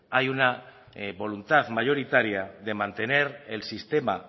hay una voluntad mayoritaria de mantener el sistema